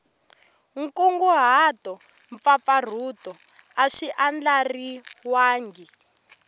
nkunguhato mpfapfarhuto a swi andlariwangi